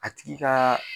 A tigi ka